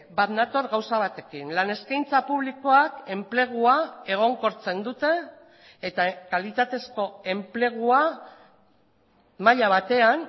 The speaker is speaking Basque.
bat nator gauza batekin lan eskaintza publikoak enplegua egonkortzen dute eta kalitatezko enplegua maila batean